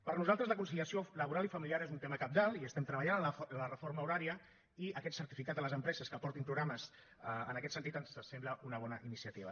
per nosaltres la conciliació laboral i familiar és un tema cabdal i estem treballant en la reforma horària i aquest certificat de les empreses que aportin programes en aquest sentit ens sembla una bona iniciativa